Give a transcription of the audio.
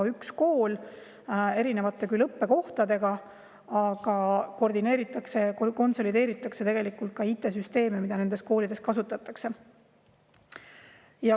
On üks kool erinevate õppekohtadega, aga koordineeritakse ja konsolideeritakse IT‑süsteeme, mida nendes koolides kasutatakse.